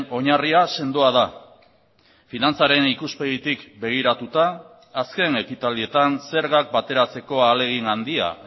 oinarria sendoa da finantzaren ikuspegitik begiratuta azken ekitaldietan zergak bateratzeko ahalegin handia